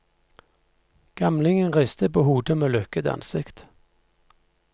Gamlingen ristet på hodet med lukket ansikt.